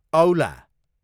औला